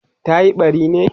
tayi ɓari ne?